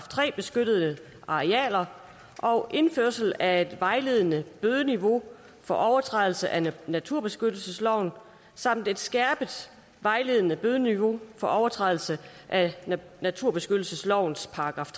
tre beskyttede arealer og indførelse af et vejledende bødeniveau for overtrædelse af naturbeskyttelsesloven samt et skærpet vejledende bødeniveau for overtrædelse af naturbeskyttelseslovens §